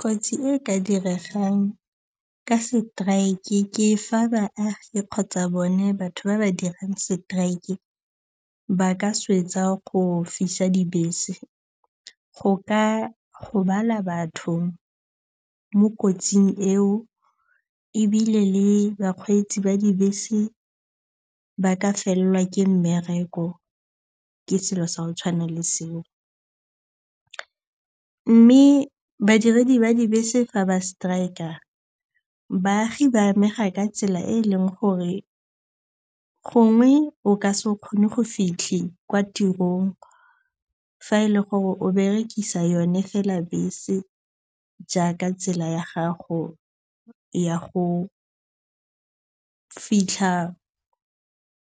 Kotsi e ka diregang ka seteraeke ke fa baagi kgotsa bone batho ba ba dirang seteraeke ba ka swetsa go fisa dibese. Go ka gobala batho mo kotsing eo ebile le bakgweetsi ba dibese ba ka fellwa ke mmereko. Ke selo sa go tshwana le seo. Mme badiredi ba dibese fa ba strike-a, baagi ba amega ka tsela e e leng gore gongwe o ka se kgone go fitlha kwa tirong fa e le gore o berekisa yone fela bese jaaka tsela ya gago ya go fitlha